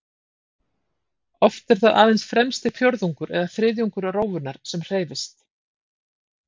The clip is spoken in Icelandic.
Oft er það aðeins fremsti fjórðungur eða þriðjungur rófunnar sem hreyfist.